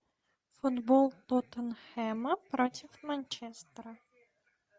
футбол тоттенхэма против манчестера